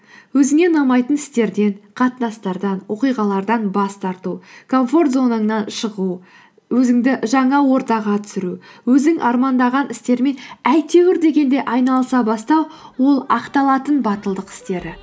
өзіңе ұнамайтын істерден қатынастардан оқиғалардан бас тарту комфорт зонаңнан шығу өзіңді жаңа ортаға түсіру өзің армандаған істермен әйтеуір дегенде айналыса бастау ол ақталатын батылдық істері